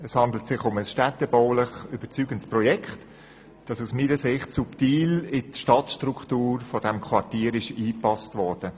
Es handelt sich um ein städtebaulich überzeugendes Projekt, das aus meiner Sicht subtil in die Stadtstruktur des Quartiers eingepasst wurde.